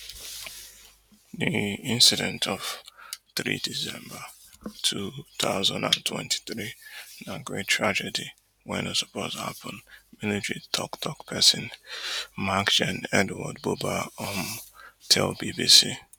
di incident of three december two thousand and twenty-three na great tragedy wey no suppose happun military toktok pesin maj. gen. edward buba um tell bbc